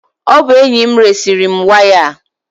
Ọ bụ enyi m resiri m waya a.